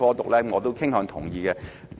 對此我是傾向同意的。